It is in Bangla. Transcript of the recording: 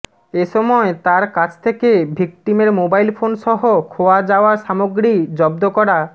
এ সময় তার কাছ থেকে ভিকটিমের মোবাইল ফোনসহ খোয়া যাওয়া সামগ্রী জব্দ করা